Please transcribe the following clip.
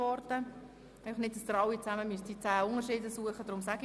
Einfach, damit Sie nicht die zehn Unterschiede suchen müssen.